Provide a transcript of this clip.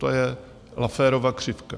To je Lafferova křivka.